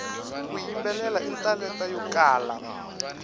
ku yimbelela i talenta yo kala